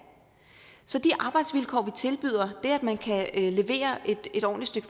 så de arbejdsvilkår vi tilbyder det at man kan levere et ordentligt